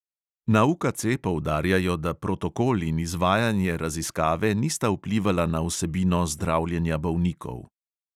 Na UKC poudarjajo, da protokol in izvajanje raziskave nista vplivala na vsebino zdravljenja bolnikov.